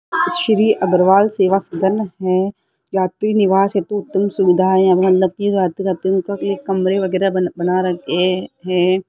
श्री अग्रवाल सेवा सदन है यात्री निवास हेतु उत्तम सुविधा की रातें रातों कमरे वगैरा बन बना ए हैं।